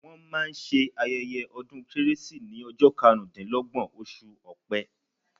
Wọ́n máa ṣe ayẹ́yẹ́ ọdún kérésì ní ọjọ́ karùn dí lọ́gbọ̀n, oṣù Ọpẹ.